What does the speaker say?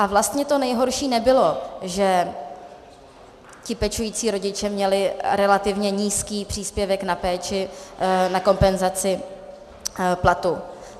A vlastně to nejhorší nebylo, že ti pečující rodiče měli relativně nízký příspěvek na péči, na kompenzaci platu.